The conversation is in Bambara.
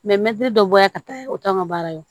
mɛtiri dɔ bɔra yan ka taa o t'an ka baara ye